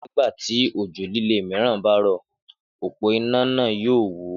Nígbà tí òjò líle mìíràn bá rò òpó iná náà yóò wó